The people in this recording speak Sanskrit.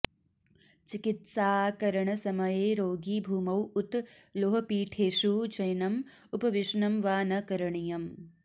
चिकित्साकरणसमये रोगी भूमौ उत लोहपीठेषु शयनम् उपवेशनं वा न करणीयम्